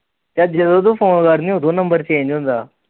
ਯਾਰ ਜਦੋ ਤੂੰ ਫੋਨ ਕਰਦੀ ਨ ਉਦੋਂ ਨੰਬਰ ਚੇਂਜ ਹੁੰਦਾ।